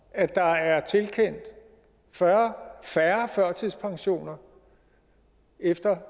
at der er tilkendt fyrre færre førtidspensioner efter